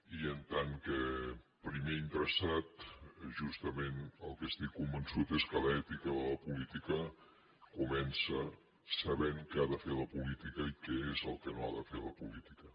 i en tant que primer interessat justament del que estic convençut és que l’ètica de la política comença sabent què ha de fer la política i què és el que no ha de fer la política